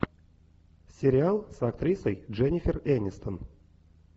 сериал с актрисой дженнифер энистон